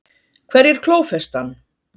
Hverjir klófestu hann?